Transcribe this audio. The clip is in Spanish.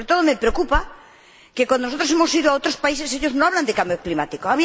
Pero, sobre todo, me preocupa que, cuando nosotros hemos ido a otros países, ellos no hablan de cambio climático.